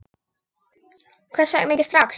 Hvers vegna ekki strax?